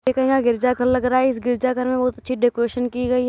एक यहाँ गिरजा घर लग रहा है। इस गिरजा घर मे बहुत अच्छी डेकरेशन की गई --